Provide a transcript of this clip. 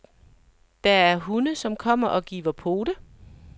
Der er hunde, som kommer og giver pote.